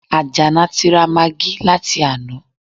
Àjàlá ti ra magí láti àná